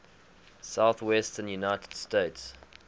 southwestern united states